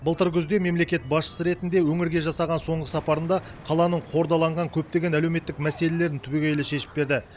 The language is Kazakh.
былтыр күзде мемлекет басшысы ретінде өңірге жасаған соңғы сапарында қаланың қордаланған көптеген әлеуметтік мәселелерін түбегейлі шешіп берді